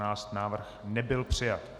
Návrh nebyl přijat.